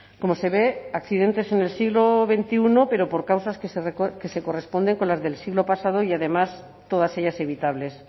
como se ve accidentes en el siglo veintiuno pero por causas que se corresponden con las del siglo pasado y además todas ellas evitables